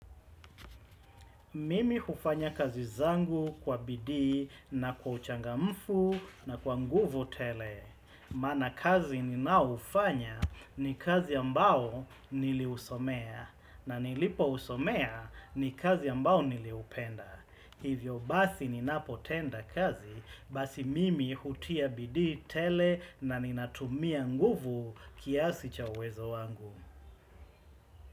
Mimi hufanya kazi zangu kwa bidii na kwa uchanga mfu na kwa nguvu tele. Maana kazi ninao ufanya ni kazi ambao nili usomea na nilipo usomea ni kazi ambao nili upenda. Hivyo basi ninapotenda kazi basi mimi hutia bidii tele na ninatumia nguvu kiasi cha uwezo wangu.